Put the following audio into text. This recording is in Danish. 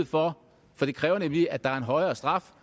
for det kræver nemlig at der er en højere straf